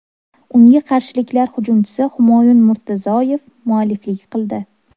Unga qarshiliklar hujumchisi Humoyun Murtazoyev mualliflik qildi.